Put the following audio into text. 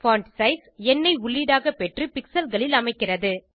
font size எண்ணை உள்ளீடாக பெற்று pixelகளில் அமைக்கிறது